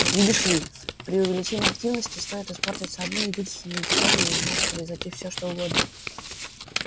видишь ли при увеличении активности стоит испортиться одной единственной детали и может произойти всё что угодно